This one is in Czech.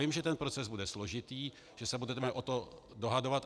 Vím, že ten proces bude složitý, že se budeme o to dohadovat.